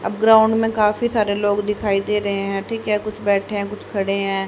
अब ग्राउंड में काफी सारे लोग दिखाई दे रहे हैं ठीक है कुछ बैठे हैं कुछ खड़े हैं।